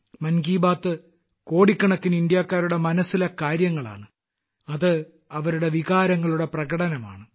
മൻ കി ബാത് കോടിക്കണക്കിന് ഇന്ത്യക്കാരുടെ മനസ്സിലെ കാര്യങ്ങൾ ആണ് അത് അവരുടെ വികാരങ്ങളുടെ പ്രകടനമാണ്